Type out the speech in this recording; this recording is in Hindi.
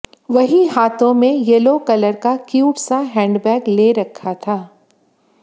वहीं हाथों में येलो कलर का क्यूट सा हैंडबैग ले रखा था